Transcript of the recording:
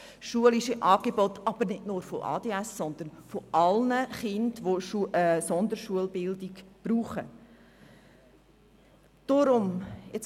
Es geht um schulische Angebote, die nicht nur für Kinder mit ADHS da sind, sondern für alle Kinder, die eine Sonderschulbildung benötigen.